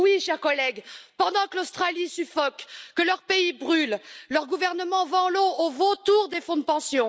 Oui, chers collègues, pendant que l'Australie suffoque, que le pays brûle, son gouvernement vend l'eau aux vautours des fonds de pension.